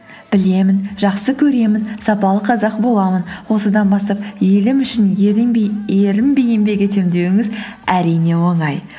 білемін жақсы көремін сапалы қазақ боламын осыдан бастап елім үшін ерінбей ерінбей еңбек етемін деуіңіз әрине оңай